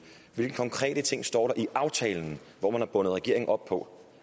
hvilke konkrete ting står der i aftalen hvor man har bundet regeringen op på